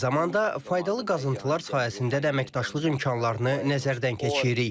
Eyni zamanda faydalı qazıntılar sayəsində də əməkdaşlıq imkanlarını nəzərdən keçiririk.